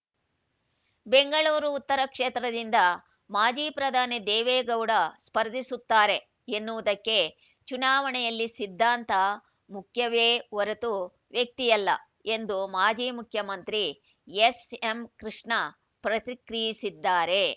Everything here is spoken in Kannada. ಬೆಂಗಳೂರು ಉತ್ತರ ಕ್ಷೇತ್ರದಿಂದ ಮಾಜಿ ಪ್ರಧಾನಿ ದೇವೇಗೌಡ ಸ್ಪರ್ಧಿಸುತ್ತಾರೆ ಎನ್ನುವುದಕ್ಕೆ ಚುನಾವಣೆಯಲ್ಲಿ ಸಿದ್ಧಾಂತ ಮುಖ್ಯವೇ ಹೊರತು ವ್ಯಕ್ತಿಯಲ್ಲ ಎಂದು ಮಾಜಿ ಮುಖ್ಯಮಂತ್ರಿ ಎಸ್ಎಂ ಕೃಷ್ಣ ಪ್ರತಿಕ್ರಿಯಿಸಿದ್ದಾರೆ